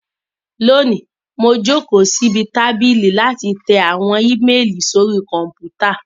Lónìí, mo jókòó síbi tábìlì láti tẹ àwọn íméélì sórí Kọ̀m̀pútà